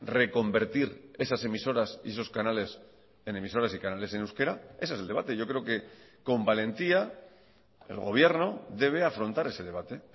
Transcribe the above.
reconvertir esas emisoras y esos canales en emisoras y canales en euskera ese es el debate yo creo que con valentía el gobierno debe afrontar ese debate